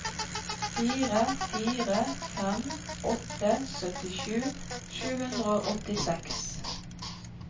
fire fire fem åtte syttisju sju hundre og åttiseks